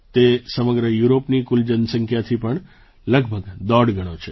તે સમગ્ર યુરોપની કુલ જનસંખ્યાથી પણ લગભગ દોઢ ગણો છે